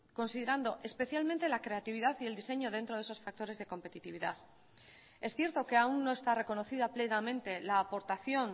considerando especialmente la creatividad y el diseño dentro de esos factores de competitividad es cierto que aún no está reconocida plenamente la aportación